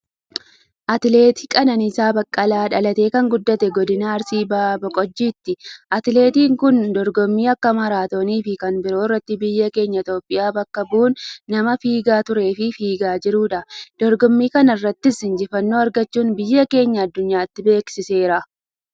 Atileet Qananiisaa Baqqalaa, dhalatee kan guddate, Godina Arsii Bahaa Boqojjiitti. Atileettin kun, dorgommii akka maaraatooniifi kan biroo irratti biyya keenya Itiyoophiyaa bakka bu' uun nama fiigaa tureefi fiigaa jiruudha. Dorgommii kanarrattis, injifannoo argachuun, biyya keenya aduunyaatti beeksiseera.